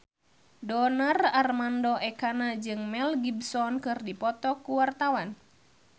Donar Armando Ekana jeung Mel Gibson keur dipoto ku wartawan